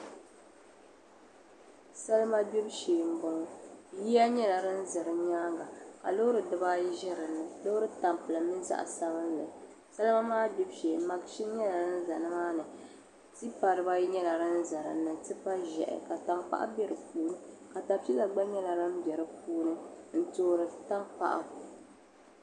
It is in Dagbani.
Salima gbibu shee m-bɔŋɔ yiya nyɛla din ʒe di nyaaŋa loori dibayi ʒe dini loori tampilim mini zaɣ'sabinli salima maa gbibu shee maʒini nyɛla din za nimaani tipa dibayi nyɛla din za dini tipa ʒɛhi ka tankpaɣu be di puuni katapila gba nyɛla din be di puuni n-toori tankpaɣu.